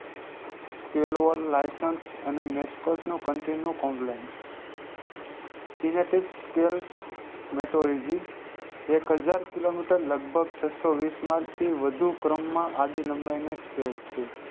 scalevr licence મેસ્કોસ નો continue કોમલ્સ synoptic scale મેટોરીજી એકહજાર કિલોમીટર લગભગ છસોવીસ માંથી વઘુ ક્રમાં આડીલમ નો scale છે